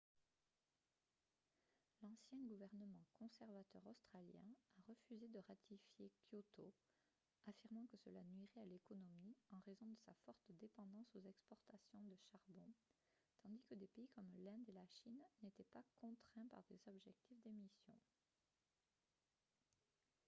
l'ancien gouvernement conservateur australien a refusé de ratifier kyoto affirmant que cela nuirait à l'économie en raison de sa forte dépendance aux exportations de charbon tandis que des pays comme l'inde et la chine n'étaient pas contraints par des objectifs d'émissions